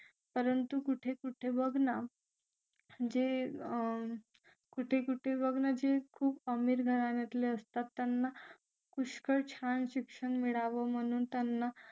परंतु कुठे कुठे बघ ना जे कुठे कुठे बघणार जे खूप अमीर घराण्यातले असतात त्यांना पुष्कळ छान शिक्षण मिळावं म्हणून त्यांना